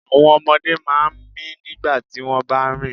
Àwọn ọmọdé máa ń mì nígbà tí wọ́n bá ń rìn.